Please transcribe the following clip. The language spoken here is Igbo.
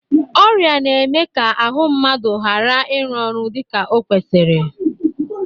Ọrịa na-eme ka ahụ mmadụ gara ịru ọrụ dịka o kwesiri.